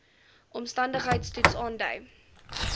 omstandigheids toets aandui